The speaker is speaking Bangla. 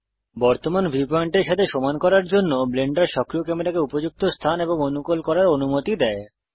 বর্তমান ভিউ পয়েন্টের সাথে সমান করার জন্য ব্লেন্ডার সক্রিয় ক্যামেরাকে উপযুক্ত স্থান এবং অনুকুল করার অনুমতি দেয়